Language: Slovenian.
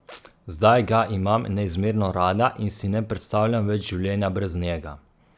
Zdaj ga imam neizmerno rada in si ne predstavljam več življenja brez njega.